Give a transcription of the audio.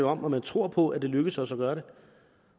om at man tror på at det lykkes os at gøre det